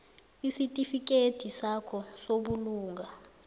isitifikedi sakho sobulunga